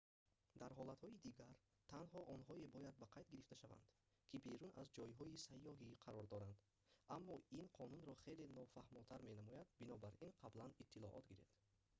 дар ҳолатҳои дигар танҳо онҳое бояд ба қайд гирифта шаванд ки берун аз ҷойҳои сайёҳӣ қарор доранд аммо ин қонунро хеле нофаҳмотар менамояд бинобар ин қаблан иттилоот гиред